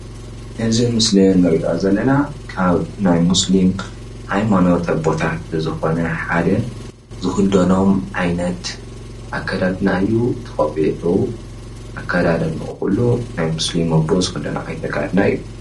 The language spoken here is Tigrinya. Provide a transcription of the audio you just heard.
እዚ ምስሊ ንርእዮ ዘለና ካብ ናይ ሙስሊም ሃይማኖት ኣቦታት ዝኾነ ሓደ ዝክደኖም ዓይነት ኣከዳድና እዩ። እቲ ቆቢዑ ኣከዳድንኡ ኩሉ ናይ ሙስሊም ኣቦ ዝክደኖ ዓይነት ኣከዳድና እዩ።